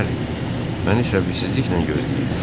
Bəli, məni səbirsizliklə gözləyirlər.